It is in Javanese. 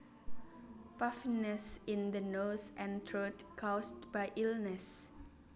Puffiness in the nose and throat caused by illness